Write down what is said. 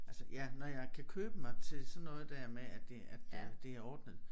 Altså ja når jeg kan købe mig til sådan noget der med at det at øh det er ordnet